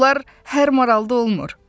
Bunlar hər maralda olmur.